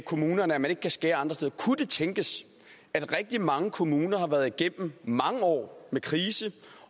kommunerne at de ikke kan skære andre steder kunne det tænkes at rigtig mange kommuner har været igennem mange år med krise